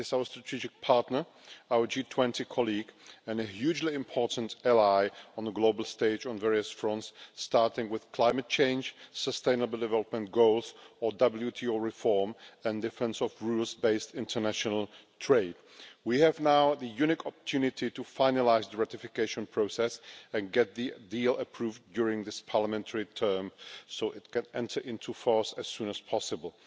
It is our strategic partner, our G20 colleague and a hugely important ally on the global stage on various fronts, starting with climate change, the sustainable development goals and WTO reform and defence of rules-based international trade. We now have a unique opportunity to finalise the ratification process and get the deal approved during this parliamentary term so that it can enter into force as soon as possible.